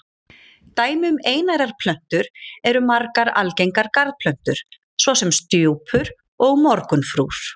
Dæmi um einærar plöntur eru margar algengar garðplöntur svo sem stjúpur og morgunfrúr.